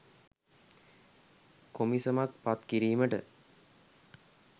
කොමිසමක් පත් කිරීමට